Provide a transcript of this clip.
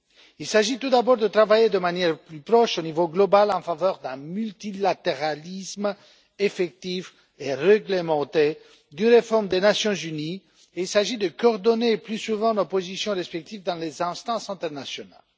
Il s'agit tout d'abord de travailler de manière plus proche au niveau mondial en faveur d'un multilatéralisme effectif et réglementé, d'une réforme des Nations unies, et il s'agit de coordonner plus souvent nos positions respectives dans les instances internationales.